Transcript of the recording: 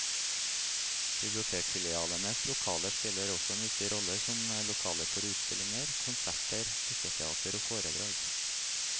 Bibliotekfilialenes lokaler spiller også en viktig rolle som lokaler for utstillinger, konserter, dukketeater og foredrag.